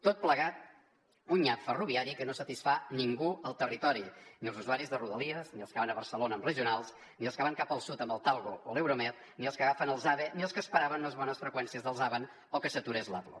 tot plegat un nyap ferroviari que no satisfà ningú al territori ni els usuaris de rodalies ni els que van a barcelona amb regionals ni els que van cap al sud amb el talgo o l’euromed ni els que agafen els ave ni els que esperaven unes bones freqüències dels avant o que s’aturés l’avlo